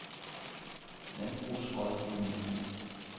Landbrugsrådgivning